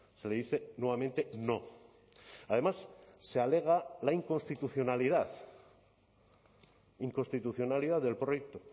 se le dice nuevamente no además se alega la inconstitucionalidad inconstitucionalidad del proyecto